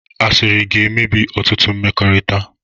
Asịrị ga-emebi ọtụtụ mmekọrịta